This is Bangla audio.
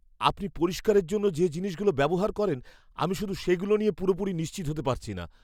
আপনি পরিষ্কারের জন্য যে জিনিসগুলো ব্যবহার করেন আমি শুধু সেগুলো নিয়ে পুরোপুরি নিশ্চিত হতে পারছি না।